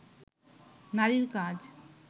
নারীর কাজ